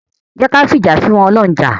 Jẹ́ ki a fìjà f'ọ́lọ́run jà.